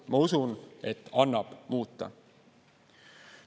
Ma usun, et annab muuta.